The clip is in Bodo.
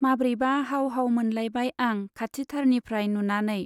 माब्रैबा हाव हाव मोनलायबाय आं खाथिथारनिफ्राय नुनानै।